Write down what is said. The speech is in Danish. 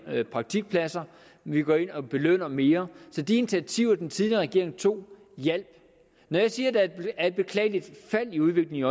praktikpladser vi går ind og belønner mere så de initiativer den tidligere regering tog hjalp når jeg siger at der er et beklageligt fald i udviklingen